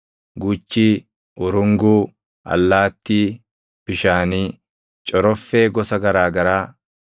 guchii, urunguu, allaattii bishaanii, coroffee gosa garaa garaa,